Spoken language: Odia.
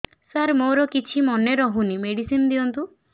ସାର ମୋର କିଛି ମନେ ରହୁନି ମେଡିସିନ ଦିଅନ୍ତୁ